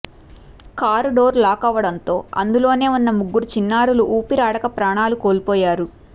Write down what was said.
car door lock కావడంతో అందులోనే ఉన్న ముగ్గురు చిన్నారులు ఊపిరాడక ప్రాణాలు కోల్పోయారు